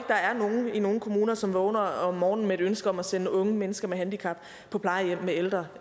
der er nogen i nogen kommuner som vågner om morgenen med et ønske om at sende unge mennesker med handicap på plejehjem med ældre